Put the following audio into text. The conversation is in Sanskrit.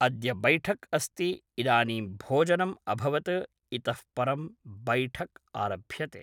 अद्य बैठक् अस्ति इदानीं भोजनम् अभवत् इतः परं बैठक् आरभ्यते